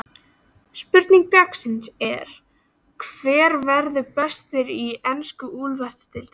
Spurning dagsins er: Hver verður bestur í ensku úrvalsdeildinni?